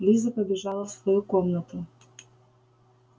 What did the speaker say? лиза побежала в свою комнату